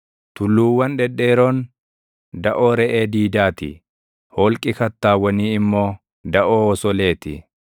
Tulluuwwan dhedheeroon daʼoo reʼee diidaa ti; holqi kattaawwanii immoo daʼoo osolee ti.